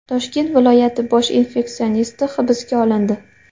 Toshkent viloyati bosh infeksionisti hibsga olindi.